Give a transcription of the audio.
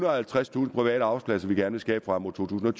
og halvtredstusind private arbejdspladser vi gerne vil skabe frem mod totusinde